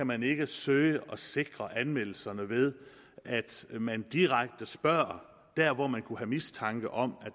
man ikke kan søge at sikre anmeldelserne ved at man direkte spørger der hvor man kunne have mistanke om